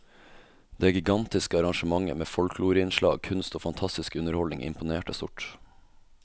Det gigantiske arrangementet med folkloreinnslag, kunst og fantastisk underholdning imponerte stort.